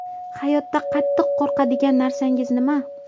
Hayotda qattiq qo‘rqadigan narsangiz nima?